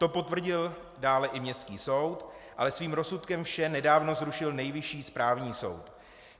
To potvrdil dále i městský soud, ale svým rozsudkem vše nedávno zrušil Nejvyšší správní soud.